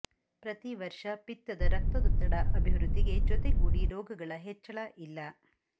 ಪ್ರತಿ ವರ್ಷ ಪಿತ್ತದ ರಕ್ತದೊತ್ತಡ ಅಭಿವೃದ್ಧಿಗೆ ಜೊತೆಗೂಡಿ ರೋಗಗಳ ಹೆಚ್ಚಳ ಇಲ್ಲ